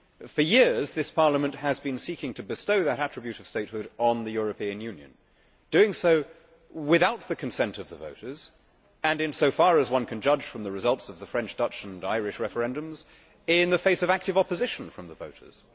For years this Parliament has been seeking to bestow that attribute of statehood on the European Union, doing so without the consent of the voters and, in so far as one can judge from the results of the French, Dutch and Irish referendums, in the face of active opposition from the voters.